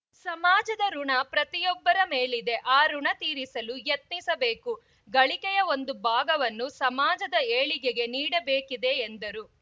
ಸಮಾಜದ ಋುಣ ಪ್ರತಿಯೊಬ್ಬರ ಮೇಲಿದೆ ಆ ಋುಣ ತೀರಿಸಲು ಯತ್ನಿಸಬೇಕು ಗಳಿಕೆಯ ಒಂದು ಭಾಗವನ್ನು ಸಮಾಜದ ಏಳಿಗೆಗೆ ನೀಡಬೇಕಿದೆ ಎಂದರು